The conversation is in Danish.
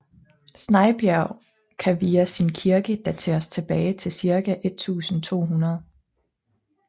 Snejbjerg kan via sin kirke dateres tilbage til ca 1200